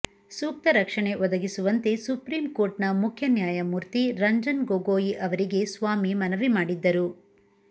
ಸೂಕ್ತ ರಕ್ಷಣೆ ಒದಗಿಸುವಂತೆ ಸುಪ್ರೀಂ ಕೋರ್ಟ ನ ಮುಖ್ಯ ನ್ಯಾಯಮೂರ್ತಿ ರಂಜನ್ ಗೊಗೊಯಿ ಅವರಿಗೆ ಸ್ವಾಮಿ ಮನವಿ ಮಾಡಿದ್ದರು